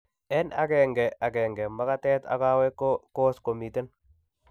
En agenge agenge, magatet ak kaweek ko egos komiten